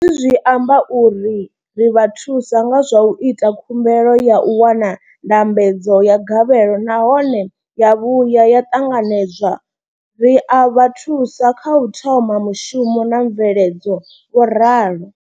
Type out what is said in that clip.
Hezwi zwi amba uri ri vha thusa nga zwa u ita khumbelo ya u wana ndambedzo ya gavhelo nahone ya vhuya ya ṱanganedzwa, ri a vha thusa kha u thoma mushumo na mveledzo, vho ralo.